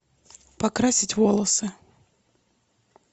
покрасить волосы